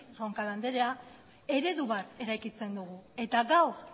roncal andrea eredu bat eraikitzen dugu eta gaur